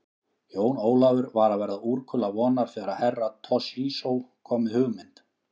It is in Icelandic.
Jón Ólafur var að verða úrkula vonar þegar Herra Toshizo kom með hugmynd.